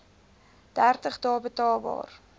dertig dae betaalbaar